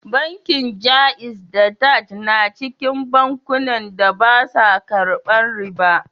Bankin Jaiz da Taj na cikin bankunan da ba su karban riba